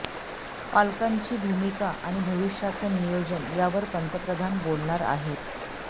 पालकांची भूमिका आणि भविष्याचं नियोजन यावर पंतप्रधान बोलणार आहेत